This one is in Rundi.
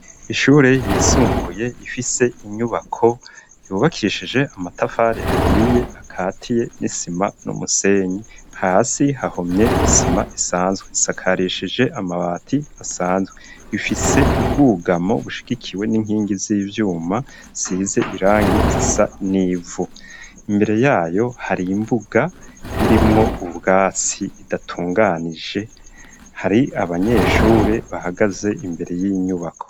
Ishure yisumbuye ifise inyubako yubakishije amatafari ahiye akatiye n'isima n'umusenyi hasi hahomye isima isanzwe isakarishije amabati asanzwe ifise ubwugamo bushigikiwe n'inkingi z'ivyuma size irangi zisa n'ivu imbere yayo hari imbuga irimwo ubwatsi idatunganije hari abanyeshure bahagaze imbere y'inyubako.